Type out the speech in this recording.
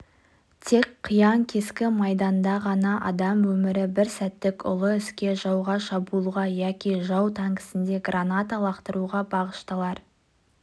тек қиян-кескі майданда ғана адам өмірі бір сәттік ұлы іске жауға шабуылға яки жау танкісіне граната лақтыруға бағышталар